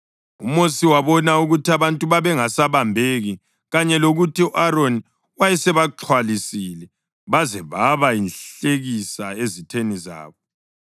UMosi wabona ukuthi abantu babengasabambeki kanye lokuthi u-Aroni wayesebaxhwalisile baze baba yinhlekisa ezitheni zabo.